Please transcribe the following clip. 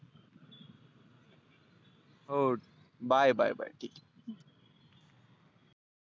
हो bye bye bye